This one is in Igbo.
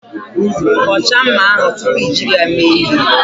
Kọchaa mma ahụ tupu i jiri ya mee ihe.